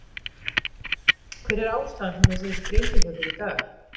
Hver er ástæðan fyrir þessari sprengju hjá þér í dag?